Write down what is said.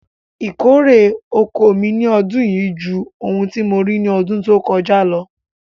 Ìkórè oko mi ni ọdún yíí jù ohun tí mo rí ni ọdún tó kọ́jà ló.